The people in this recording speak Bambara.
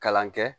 Kalan kɛ